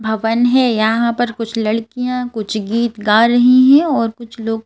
भवन है यहाँ पर कुछ लड़कियाँ कुछ गीत गा रही हैं और कुछ लोग --